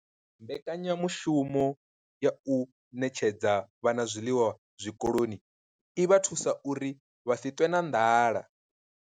Mbekanya mushumo ya u ṋetshedza vhana zwiḽiwa zwikoloni i vha thusa uri vha si ṱwe na nḓala.